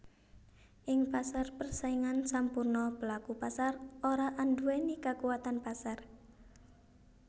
Ing pasar persaingan sampurna pelaku pasar ora anduwèni kakuwatan pasar